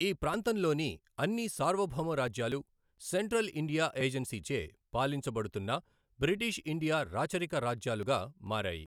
ఈ ప్రాంతంలోని అన్ని సార్వభౌమ రాజ్యాలు సెంట్రల్ ఇండియా ఏజెన్సీచే పాలించబడుతున్న బ్రిటిష్ ఇండియా రాచరిక రాజ్యాలుగా మారాయి.